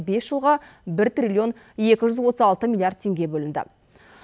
бес жылға бір триллион екі жүз отыз алты миллиард теңге бөлінді